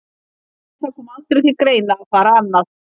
Nei, það kom aldrei til greina að fara annað.